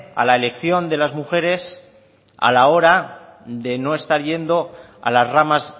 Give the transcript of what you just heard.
a la elección de las mujeres a la hora de no estar yendo a las ramas